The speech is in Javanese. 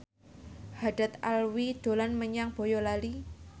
Haddad Alwi dolan menyang Boyolali